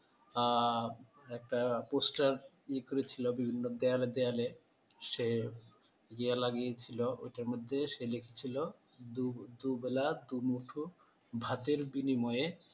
আহ একটা poster এ করেছিল বিভিন্ন দেয়ালে দেয়ালে সে ইয়ে লাগিয়েছিল ঐটার মধ্যে সে লিখছিল দু দুবেলা দুমুঠো ভাতের বিনিময়ে